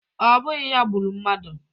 Ọ bụghị ya gburu mmadụ